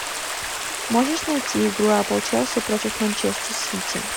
можешь найти игру апл челси против манчестер сити